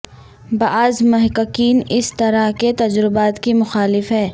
بعض محققین اس طرح کے تجربات کی مخالف ہیں